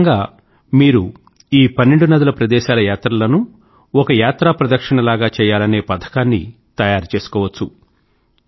ఒకరకంగా మీరు ఈ పన్నెండు నదుల ప్రదేశాల యాత్రలనూ ఒక యాత్రా ప్రదక్షిణలాగ చేయాలనే పథకాన్ని తయారు చేసుకోవచ్చు